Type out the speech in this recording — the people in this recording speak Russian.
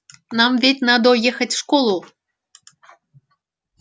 нам ведь надо ехать в школу